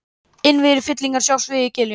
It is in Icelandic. Innviðir fyllingarinnar sjást víða í giljum.